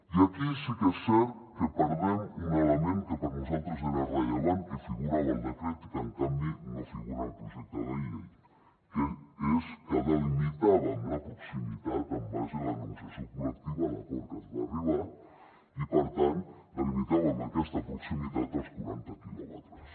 i aquí sí que és cert que perdem un element que per nosaltres era rellevant que figurava al decret i que en canvi no figura en el projecte de llei que és que delimitàvem la proximitat en base a la negociació col·lectiva l’acord a què es va arribar i per tant delimitàvem amb aquesta proximitat als quaranta quilòmetres